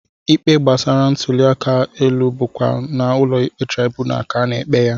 Ikpe gbasara ntụliaka elu bụkwa n'ụlọikpe traibunal ka a na-ekpe ya